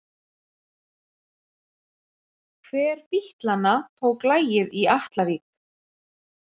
Hver bítlanna tók lagið í Atlavík?